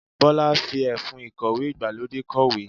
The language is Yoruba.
Bọ́lá fi ẹfun ìkọ̀wé ìgbàlódé kọ̀wé.